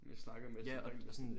Man snakker med sådan regelmæssigt ikke